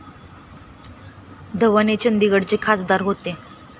धवन हे चंदीगडचे खासदार होते.